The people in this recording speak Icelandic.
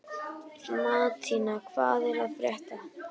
Mattína, hvað er að frétta?